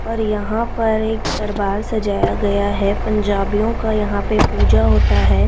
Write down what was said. और यहां पर एक दरबार सजाया गया है पंजाबियों का यहां पे पूजा होता है।